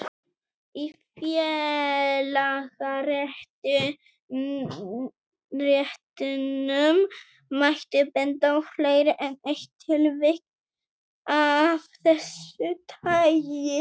Í félagaréttinum mætti benda á fleiri en eitt tilvik af þessu tagi.